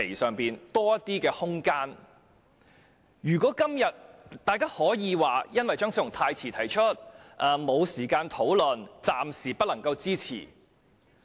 今天大家可以說由於張超雄議員的修正案太遲提出，未有時間討論，故暫時無法支持。